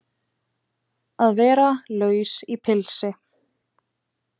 Að vera laus í pilsi